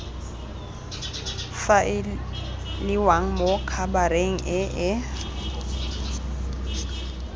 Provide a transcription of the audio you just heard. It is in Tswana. faeliwang mo khabareng e e